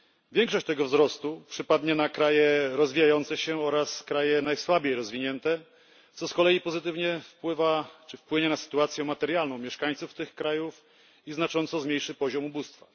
Większość tego wzrostu przypadnie na kraje rozwijające się oraz kraje najsłabiej rozwinięte, co z kolei pozytywnie wpływa czy wpłynie na sytuację materialną mieszkańców tych krajów i znacząco zmniejszy poziom ubóstwa.